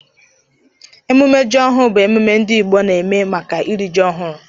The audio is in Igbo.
Emume ji ọhụ bu ememe ndi igbo nke n'eme maka iri ji ohuru.